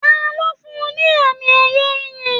Taló fún ní àmì ẹyẹ ìyí?